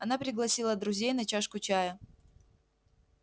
она пригласила друзей на чашку чая